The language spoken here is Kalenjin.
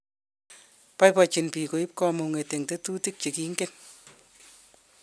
boibochine biik koib kamung'e eng tetutik che kingen.